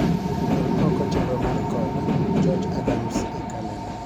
Gol oko chenro mar kod George Adams e kalenda